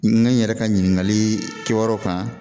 N yɛrɛ ka ɲininkali kɛyɔrɔw kan